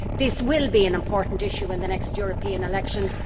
This will be an important issue in the next European elections.